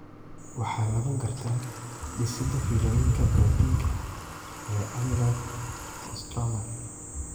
Waxaa lagu gartaa dhisidda fiilooyinka borotiinka (ie, amyloid) ee stromaka